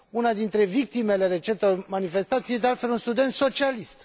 Una dintre victimele recentelor manifestații e, de altfel, un student socialist